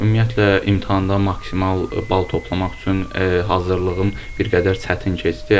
Bəli, ümumiyyətlə imtahanda maksimal bal toplamaq üçün hazırlığım bir qədər çətin keçdi.